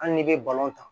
Hali n'i bɛ ta